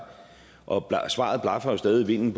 og svaret blafrer jo stadig i vinden